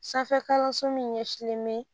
Sanfɛ kalanso min ɲɛsilen bɛ